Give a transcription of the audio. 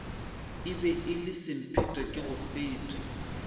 e be e le semphetekegofete